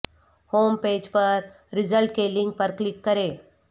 home page پر result کے link پر کلک کریں